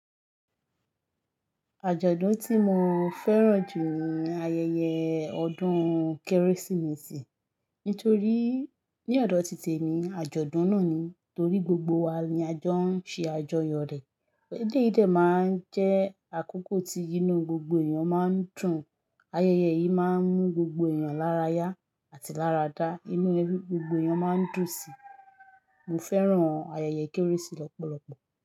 Àjọ̀dún tí mo fẹ́ràn jù ni ayẹyẹ ọdún Kérésìmesì. Nítorí ní ọ̀dọ̀ ti tèmi, àjọ̀dún náà ni torí gbogbo wa ni a jọ ń ṣe àjọyọ̀ rẹ̀. Eleyí dẹ̀ máa ń jẹ́ àkókò tí inú gbogbo èèyàn máa ń dùn. Ayẹyẹ yìí máa ń mú gbogbo èèyàn lára yá àti lára dá. Inú gbogbo èèyàn máa ń dùn síi. Mo fẹ́ràn ayẹyẹ Kérésì lọ́pọ̀lọpọ̀.